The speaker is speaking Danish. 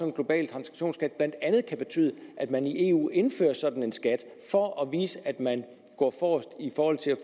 global transaktionsskat blandt andet kan betyde at man i eu indfører en sådan skat for at vise at man går forrest